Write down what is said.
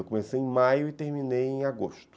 Eu comecei em maio e terminei em agosto.